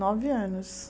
Nove anos.